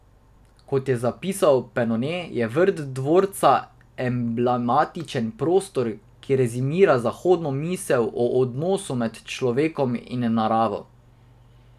Kot je zapisal Penone, je vrt dvorca emblematičen prostor, ki rezimira zahodno misel o odnosu med človekom in naravo.